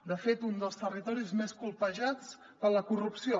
de fet un dels territoris més colpejats per la corrupció